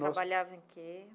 Trabalhava em que?